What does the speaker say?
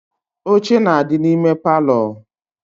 Oche na adi na ime parlour